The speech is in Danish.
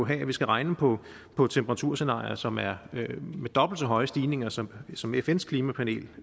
have at vi skal regne på på temperaturscenarier som er med dobbelt så høje stigninger som som fns klimapanel